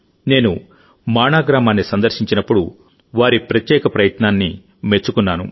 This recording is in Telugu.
నేను మాణా గ్రామాన్ని సందర్శించినప్పుడువారి ప్రత్యేక ప్రయత్నాన్ని మెచ్చుకున్నాను